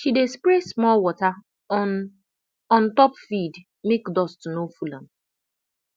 she dey spray small water on on top feed make dust no full am